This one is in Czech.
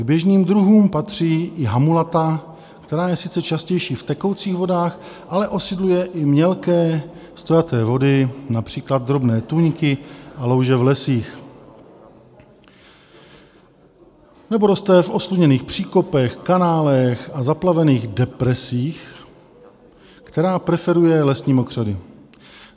K běžným druhům patří i hamulata, která je sice častější v tekoucích vodách, ale osídluje i mělké stojaté vody, například drobné tůňky a louže v lesích nebo roste v osluněných příkopech, kanálech a zaplavených depresích, která preferuje lesní mokřady.